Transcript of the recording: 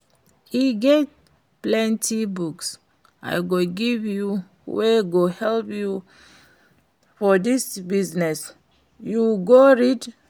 E get plenty books I go give you wey go help you for dis your business, you go read?